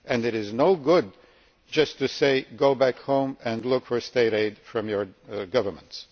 It is no good just to tell us to go back home and look for state aid from our governments.